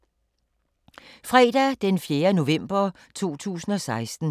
Fredag d. 4. november 2016